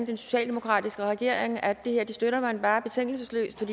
den socialdemokratiske regering om at det her støtter man bare betingelsesløst